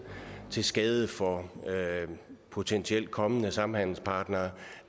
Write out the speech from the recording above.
til skade for potentielt kommende samhandelspartnere